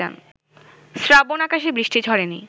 শ্রাবণ-আকাশে বৃষ্টি ঝরেনি